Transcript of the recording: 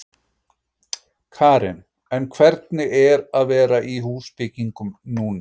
Karen: En hvernig er að vera í húsbyggingum núna?